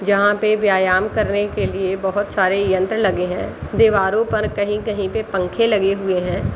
जहाँ पे व्यायाम करने के लिए बहुत सारे यंत्र लगे हैं दीवारों पर कहीं-कहीं पे पंखे लगे हुए हैं।